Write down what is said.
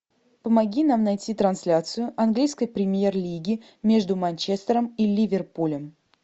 помоги нам найти трансляцию английской премьер лиги между манчестером и ливерпулем